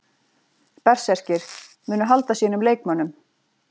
Berserkir: Munu halda sínum leikmönnum.